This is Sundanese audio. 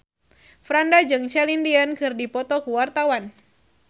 Franda jeung Celine Dion keur dipoto ku wartawan